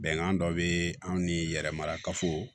Bɛnkan dɔ be anw ni yɛrɛ marakafo